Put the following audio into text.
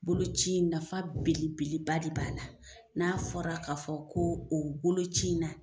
Bolo ci in nafa belebeleba de b'a la n'a fɔra k'a fɔ ko o bolo ci in na